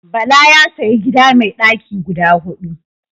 Bala ya sayi gida mai daki guda hudu.